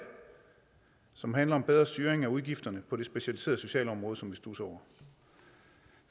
som handler om bedre styring af udgifterne på det specialiserede socialområde som vi studser over